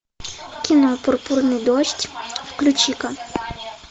кино пурпурный дождь включи ка